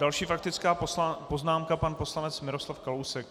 Další faktická poznámka pan poslanec Miroslav Kalousek.